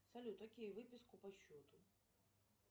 салют окей выписку по счету